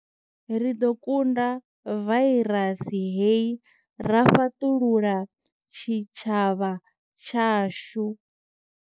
Ri ḓo kunda vairasi hei ra fhaṱulula tshitshavha tshashu.